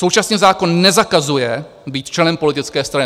Současně zákon nezakazuje být členem politické strany.